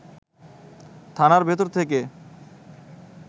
থানার ভেতর থেকে